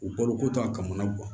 U balo ko to a kama